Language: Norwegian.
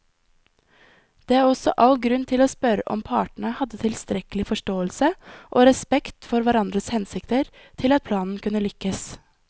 Det er også all grunn til å spørre om partene hadde tilstrekkelig forståelse og respekt for hverandres hensikter til at planen kunne lykkes.